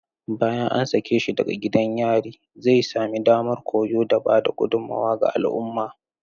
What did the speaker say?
Bayan an sake shi daga gidan yari, zai sami damar koyo da ba da gudummawa ga al'umma.